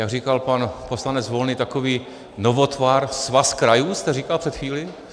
Jak říkal pan poslanec Volný, takový novotvar - svaz krajů jste říkal před chvílí?